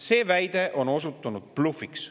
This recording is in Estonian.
See väide on osutunud blufiks.